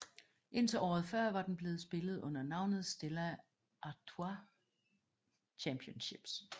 Indtil året før var den blevet spillet under navnet Stella Artois Championships